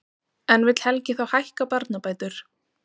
En vill Helgi þá hækka barnabætur?